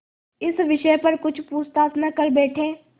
इस विषय पर कुछ पूछताछ न कर बैठें